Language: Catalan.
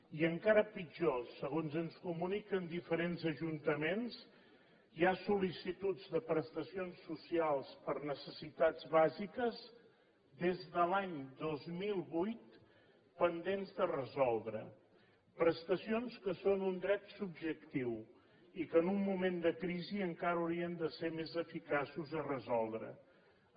i encara pitjor segons ens comuniquen diferents ajuntaments hi ha sol·licituds de prestacions socials per necessitats bàsiques des de l’any dos mil vuit pendents de resoldre prestacions que són un dret subjectiu i que en un moment de crisi encara haurien de ser més eficaços a resoldreles